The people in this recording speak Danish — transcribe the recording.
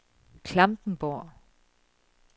Klampenborg